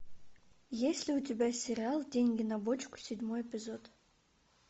есть ли у тебя сериал деньги на бочку седьмой эпизод